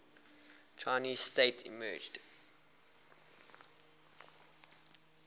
chinese state emerged